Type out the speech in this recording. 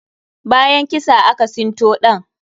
Bayan kisa, aka sinto ɗan.